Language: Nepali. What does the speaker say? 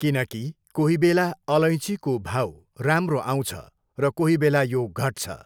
किनकि कोही बेला अलैँचीको भाउ राम्रो आउँछ र कोही बेला यो घट्छ।